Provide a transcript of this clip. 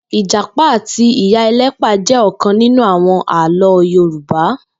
Ijàpá àtí iyá elëpà jè òkãn ninú áwòn àlõ yoruba